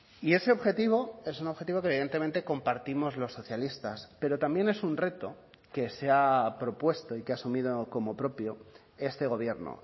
y ese objetivo es un objetivo que evidentemente compartimos los socialistas pero también es un reto que se ha propuesto y que ha asumido como propio este gobierno